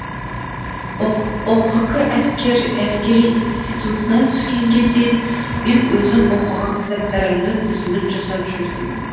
ұқк әскери институтына түскенге дейін мен өзім оқыған кітаптарымның тізімін жасап жүрдім